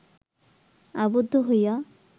আবদ্ধ হইয়া